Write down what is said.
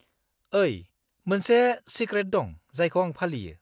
-ओइ, मोनसे सेक्रेट दं जायखौ आं फालियो।